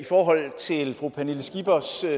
forhold til fru pernille skippers